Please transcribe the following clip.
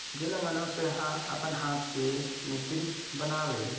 जेला माणूसा ह अपन हाथ से मिस्त्री बना वे--